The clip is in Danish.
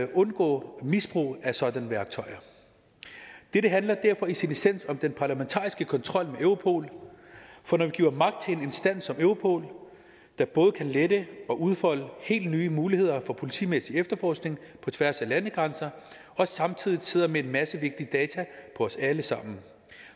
undgå misbrug af sådanne værktøjer dette handler derfor i sin essens om den parlamentariske kontrol med europol for når vi giver magt til en instans som europol der både kan lette det og udfolde helt nye muligheder for politimæssig efterforskning på tværs af landegrænser og samtidig sidder med en masse vigtige data på os alle sammen